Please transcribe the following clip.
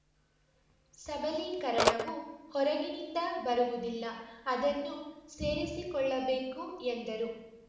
ಸಬಲೀಕರಣವು ಹೊರಗಿನಿಂದ ಬರಿವದಿಲ್ಲ ಅದನ್ನು ಸೇರಿಸಿಕೊಳ್ಳಬೇಕು ಎಂದರು